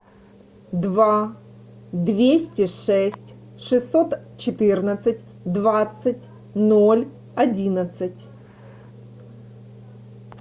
два двести шесть шестьсот четырнадцать двадцать ноль одиннадцать